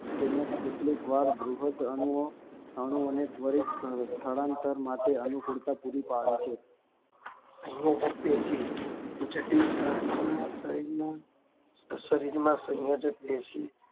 તેમજ કેટલીક વાર બૃહદ અણુઓ અણુઓને ત્વરિત સ્થળાંતર માટે અનુકૂળતા પુરી પડે છે સંયોજક પેશી જટિલ પ્રાણીઓના શરીરના શરીરમાં સંયોજક પેશી